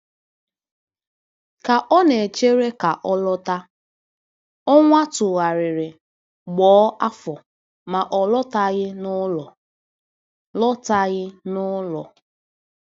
Ka ọ na-echere ka ọ lọta, ọnwa tụgharịrị ghọọ afọ, ma ọ lọtaghị n'ụlọ. lọtaghị n'ụlọ.